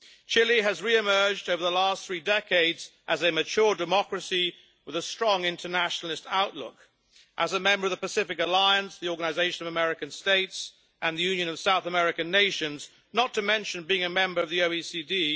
Chile has re emerged over the last three decades as a mature democracy with a strong internationalist outlook. As a member of the Pacific Alliance, the Organisation of American States and the Union of South American Nations, not to mention being a member of the OECD.